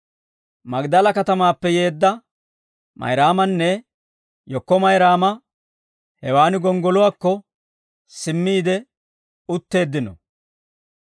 Magdala katamaappe yeedda Mayraamanne yekko Mayraama hewaan gonggoluwaakko simmiide utteeddino.